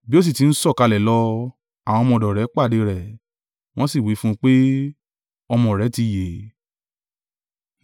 Bí ó sì ti ń sọ̀kalẹ̀ lọ, àwọn ọmọ ọ̀dọ̀ rẹ̀ pàdé rẹ̀, wọ́n sì wí fún un pé, ọmọ rẹ ti yè.